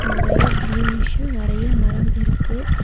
நறையா க்ரீனிஷ்ஷு நறையா மரம் இருக்கு.